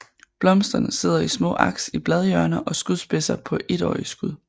Blomsterne sidder i små aks i bladhjørner og skudspidser på étårige skud